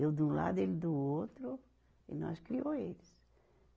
Eu de um lado, ele do outro, e nós criou eles.